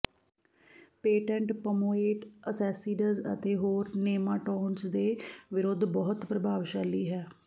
patent ਪਮੋਏਟ ਅਸੈਸੀਡਜ਼ ਅਤੇ ਹੋਰ ਨੇਮਾਂਟੌਡਜ਼ ਦੇ ਵਿਰੁੱਧ ਬਹੁਤ ਪ੍ਰਭਾਵਸ਼ਾਲੀ ਹੈ